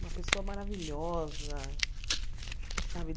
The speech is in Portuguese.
Uma pessoa maravilhosa, sabe?